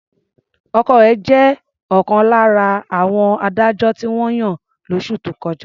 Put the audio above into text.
Ọkọ rẹ̀ jẹ́ ọ̀kan lára àwọn adájọ́ tí wọ́n yàn lóṣù tó kọjá.